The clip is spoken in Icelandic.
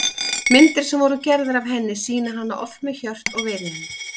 Myndir sem voru gerðar af henni sýna hana oft með hjört og veiðihund.